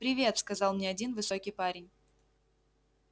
привет сказал мне один высокий парень